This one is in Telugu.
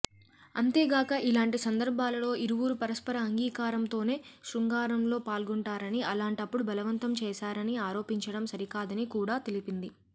అంతేగాక ఇలాంటి సందర్భాలలో ఇరువురు పరస్పర అంగీకారంతోనే శృంగారంలో పాల్గొంటారని అలాంటప్పుడు బలవంతం చేశారని ఆరోపించడం సరికాదని కూడా తెలిపింది